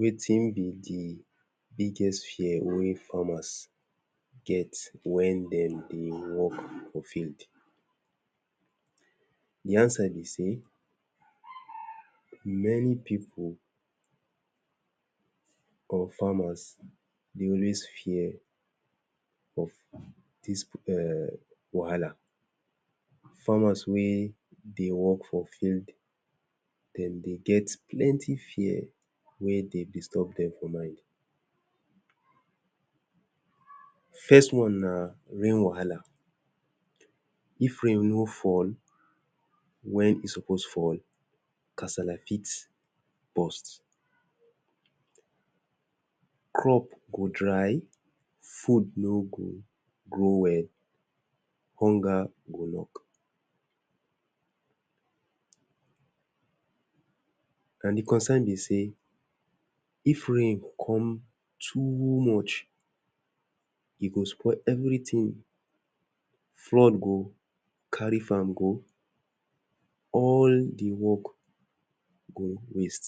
Wetin be de biggest fear wey farmers get when dem dey work for field de answer be sey many pipu or farmers dey always fear of this um wahala farmers wey dey work for field dem dey get plenty fear wey dey disturb dem for mind. First one na rain wahala if rain no fall when e suppose fall casala fit burst crop go dey food no go grow well. hunger go knock and de concern be sey if rain come too much, e go spoil everything. flood go carry farm go. all de work go waste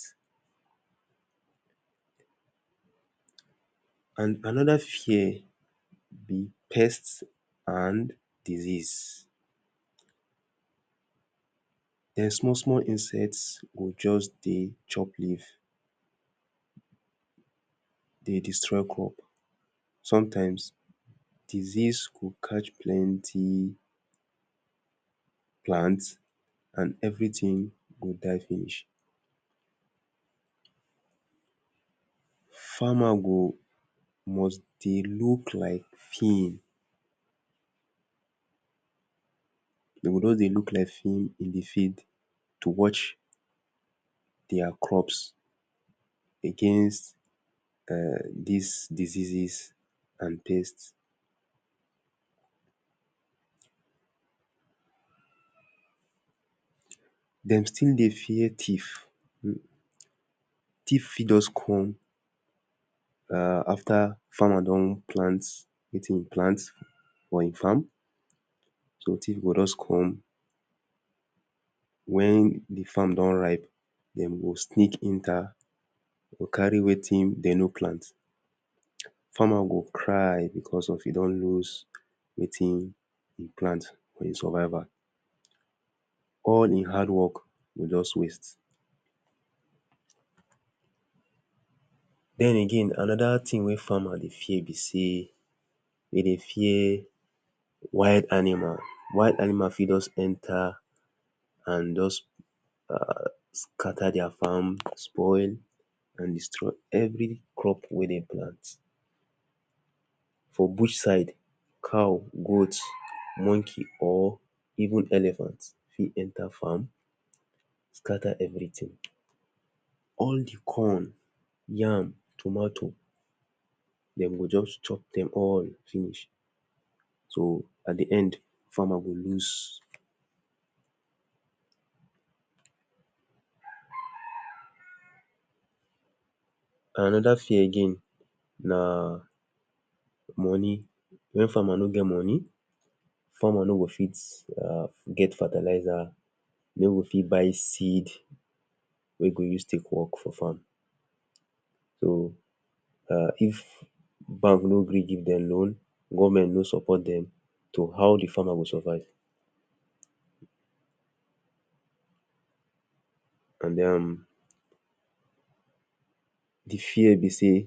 and another fear be pest and disease. dem small small insects go just dey chop leaf dey destroy crop. sometimes disease go catch plenty plant and everything go die finish. farmers go must dey look like film dem go just dey look like film in de fid to watch their crops against um this disease and pest dem still dey fear thief thief fit just come um after farmer don plant wetin im plant for im farm, so thief go just come; when de farm don ripe, dem go sneak enter carry wetin dem no plant. farmers go cry because of e don lose wetin e plant for im survival; all im hard work go just waste. then again another thing wey farmer dey fear be sey, dey dey fear wild animals. wild animal fit just enter and just scatter their farm spoil and destroy every crop wey dem plant. for bush side cow, goat monkey or even elephants fit enter farm scatter everything. all de corn yam tomato dem go just chop dem all finish so at de end, farmer go lose another fear again na money when farmer no get money farmer no go fit um get fertilizer e no go fit buy seed wey e go use take work for farm so um if bank no gree give dem loan, government no support dem, so how all de farmers go survive and um de fear be sey,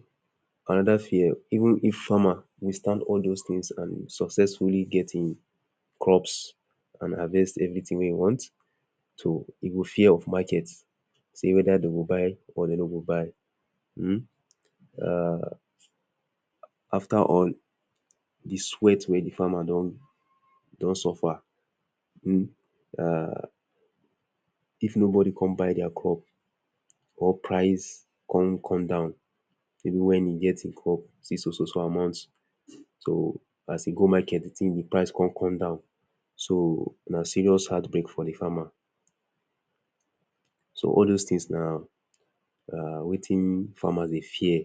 another fear even if farmer withstand all those thing and successfully get im crops and harvest everything wey im want he go fear of market say whether dem go buy or dem no go buy um. um after all de sweat wey de farmer don don suffer, if nobody come buy their crop or price come come down maybe when e get im crops sey so so so amount, so as he go market, de tin de price come come down, so na serious heart break for de farmer. so all dos things na wetin farmers dey fear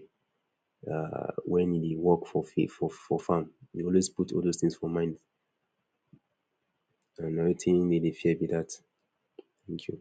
um When he work for for farm he dey always put all those thing for mind na wetin be de fear be that. Thank you